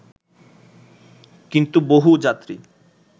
কিন্তু বহু যাত্রী